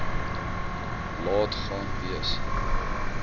laat gaan wees